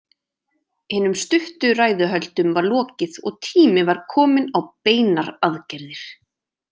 Hinum stuttu ræðuhöldum var lokið og tími var kominn á beinar aðgerðir.